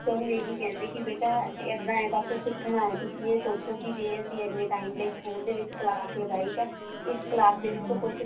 ਬੱਚਿਆ ਨੂੰ ਇਹੀ ਕਹਿੰਦੀ ਕੀ ਬੇਟਾ ਇੱਦਾਂ ਹੈ ਬੱਸ ਸਿੱਖਣਾ ਹੈ ਤੁਸੀਂ ਇਹ ਸੋਚੋ ਕੇ ਅਸੀਂ ਇੰਨੇ time ਲਈ ਸਕੂਲ ਦੇ ਵਿੱਚ ਕਲਾਸ ਲਗਾਈ ਤਾਂ ਇਸ ਕਲਾਸ ਦੇ ਵਿਚੋਂ ਕੁੱਝ